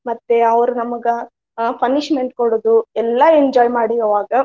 ಮತ್ತೆ ಅವರ್ ನಮಗ ಆ punishment ಕೊಡುದು ಎಲ್ಲಾ enjoy ಮಾಡೀವ ಅವಾಗ.